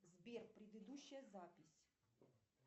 сбер предыдущая запись